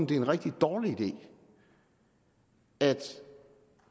det er en rigtig dårlig idé at